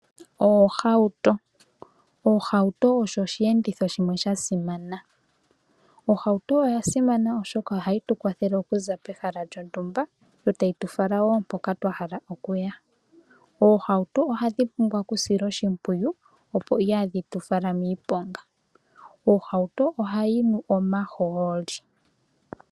Oohauto , oohauto osho oshiyenditho shimwe sha simana. Ohauto oya simana oshoka ohayi tu kwathele okuza pehala lyontumba yo tayitu fala wo mpoka twahala okuya. Oohauto ohadhi pumbwa oku silwa oshimpwiyu opo iha dhitu fala miiponga. Ohauto ohayi nu omaholi.